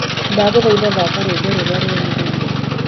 ndagũthaitha thaka rwĩmbo rũrĩa rurũmiriire